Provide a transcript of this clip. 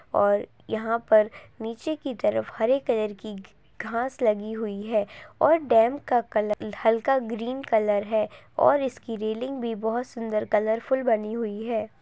और यहाँ पर नीचे की तरफ हरे कलर की घाँस लगी हुई है और डैम का कलर हल्का ग्रीन कलर है और इसकी रेलिंग भी बहुत सुंदर कलरफुल बनी हुई है ।